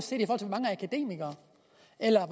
eller